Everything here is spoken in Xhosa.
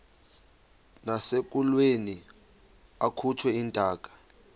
nasekulweni akhutshwe intaka